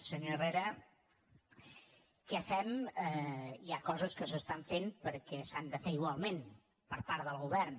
senyor herrera què fem hi ha coses que s’estan fent perquè s’han de fer igualment per part del govern